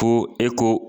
Ko e ko